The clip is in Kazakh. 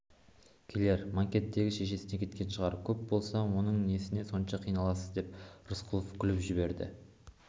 келер манкенттегі шешесіне кеткен шығар көп болса оның несіне сонша қиналдыңыз деп рысқұлов күліп жіберді